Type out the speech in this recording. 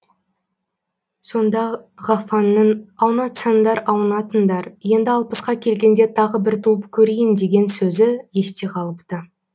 сонда ғафаңның аунатсаңдар аунатыңдар енді алпысқа келгенде тағы бір туып көрейін деген сөзі есте қалыпты